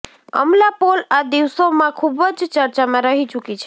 અમલા પોલ આ દિવસો માં ખુબ જ ચર્ચા માં રહી ચુકી છે